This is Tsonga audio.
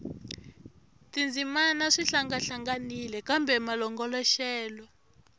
tindzimana swi hlangahlanganile kambe malongoloxelo